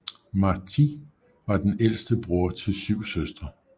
Martí var den ældste bror til syv søstre